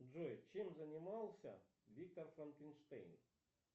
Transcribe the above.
джой чем занимался виктор франкенштейн